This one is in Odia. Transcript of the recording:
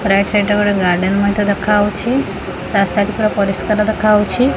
ରାଇଟ୍ ସାଇଟ ରେ ଗୋଟେ ଗାର୍ଡେନ୍ ମଧ୍ୟ ଦେଖାହଉଛି ରାସ୍ତା ପାଖର ପରିଷ୍କାର ଦେଖାହଉଛି।